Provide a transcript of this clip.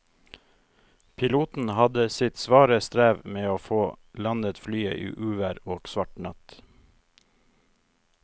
Piloten hadde sitt svare strev med å få landet flyet i uvær og svart natt.